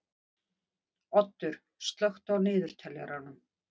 Oddur, slökktu á niðurteljaranum.